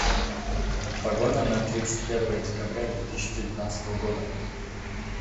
погода на тридцать первое декабря две тысячи девятнадцатого года